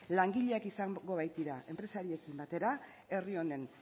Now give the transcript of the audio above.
langileak izango baitira enpresariekin batera herri honen